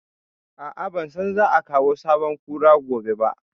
A'a, ban san za a kawo sabon Kura gobe ba